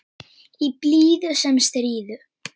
Í blíðu sem stríðu.